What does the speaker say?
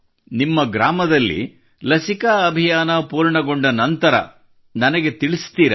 ನಿಮ್ಮ ಗ್ರಾಮದಲ್ಲಿ ಲಸಿಕಾ ಅಭಿಯಾನ ಫೂರ್ಣಗೊಂಡ ನಂತರ ನನಗೆ ತಿಳಿಸುತ್ತೀರಾ